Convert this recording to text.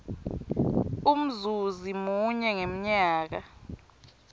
umzuzi munye ngemnyaka